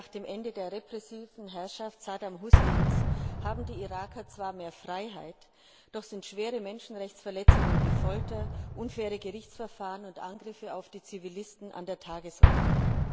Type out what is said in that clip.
Zehn Jahre nach dem Ende der repressiven Herrschaft Saddam Husseins haben die Iraker zwar mehr Freiheit, doch sind schwere Menschenrechtsverletzungen wie Folter, unfaire Gerichtsverfahren und Angriffe auf Zivilisten an der Tagesordnung.